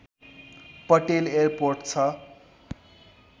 Patel airport छ